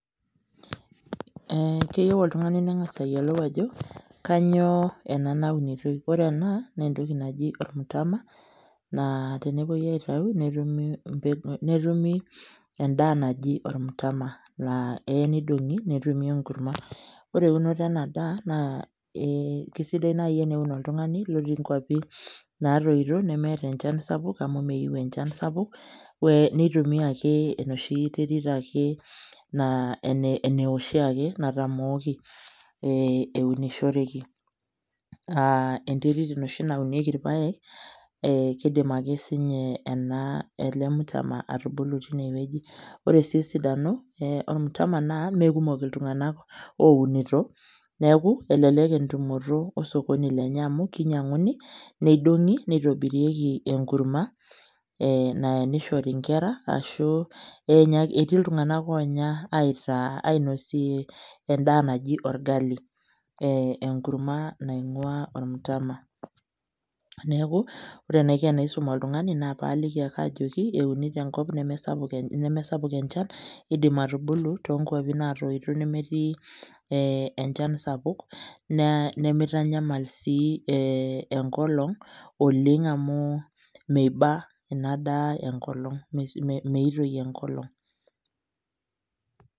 Keyieu oltung'ani neng'asa ayiolou ajo, kanyioo ena naunitoi. Ore ena, nentoki naji ormutama, naa tenepoi aitau netumi endaa naji ormtama laa eya nidong'i netumi enkurma. Ore eunoto enadaa naa kesidai nai eneun oltung'ani lotii nkwapi natoito nemeeta enchan sapuk amu meyieu enchan sapuk, nitumia ake noshi terit ake naa ene oshiake natamooki eunoreki. Enterit enoshi naunieki irpaek, kidim ake sinye ena ele mtama atubulu tinewueji. Ore si esidano ormutama naa mekumok iltung'anak ounito, neeku elelek entumoto osokoni lenye amu kinyang'uni, nedung'i nitobirieki enkurma naya nishori nkera arashu etii iltung'anak onya aitaa ainosie endaa naji orgali. Enkurma naing'ua ormtama. Neeku ore enaiko enaisum oltung'ani na paliki ake ajoki euni tenkop nemesapuk enchan, idim atubulu tonkwapi natoito nemetii enchan sapuk, nimitanyamal si enkolong oleng amu miba enadaa enkolong, meitoi enkolong.